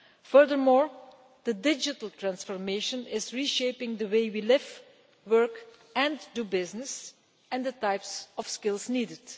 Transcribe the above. Furthermore, the digital transformation is re shaping the way we live, work, and do business and the types of skills needed.